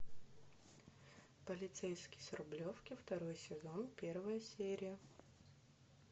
полицейский с рублевки второй сезон первая серия